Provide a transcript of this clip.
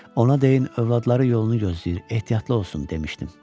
Ona deyin, övladları yolunu gözləyir, ehtiyatlı olsun demişdim.